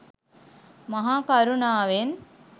මහා කරුණාවෙන්